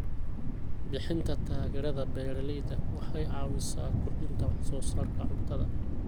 Bixinta taageerada beeralayda waxay caawisaa kordhinta wax soo saarka cuntada.